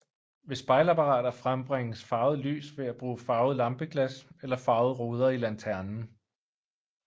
Ved spejlapparater frembringes farvet lys ved at bruge farvede lampeglas eller farvede ruder i lanternen